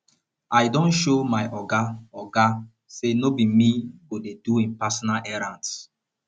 i don show my oga oga sey no be me go dey do im personal errands